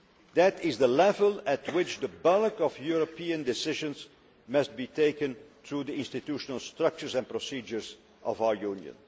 That is the level at which the bulk of European decisions must be taken through the institutional structures and procedures of our Union.